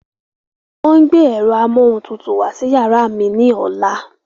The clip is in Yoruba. Wọ́n ń gbé ẹ̀rọ amóhuntutù wá sí yàrá mi ní ọ̀la.